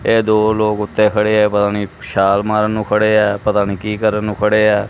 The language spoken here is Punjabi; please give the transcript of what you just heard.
ਇਹ ਦੋ ਲੋਗ ਓੱਤੇ ਖੜੇ ਐ ਪਤਾ ਨੀ ਛਾਲ਼ ਮਾਰਨ ਨੂੰ ਖੜੇ ਐ ਪਤਾ ਨੀ ਕੀ ਕਰਨ ਨੂੰ ਖੜੇ ਐ?